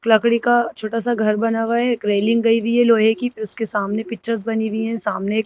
लकड़ी का का छोटा सा घर बना हुआ है एक रेलिंग गई हुई है लोहे की फिर उसके सामने पिक्चर्स बनी हुई है सामने एक--